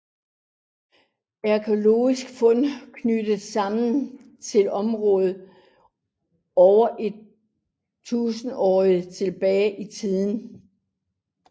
Arkæologiske fund knytter samerne til området over et tusinde år tilbage i tiden